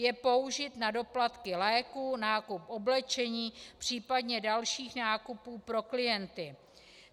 Je použit na doplatky léků, nákup oblečení, případně dalších nákupů pro klienty.